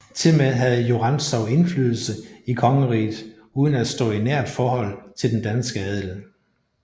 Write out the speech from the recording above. Tilmed havde jo Rantzau indflydelse i kongeriget uden at stå i nært forhold til den danske adel